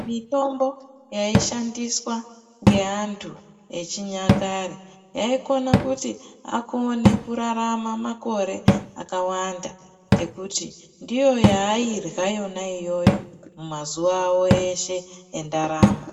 Mitombo yaishandiswa ngeantu echinyakare. Yaikona kuti akone ararame makore akawanda ngekuti ndiyo yaarya iyona iyoyo mumazuva avo eshe endaramo.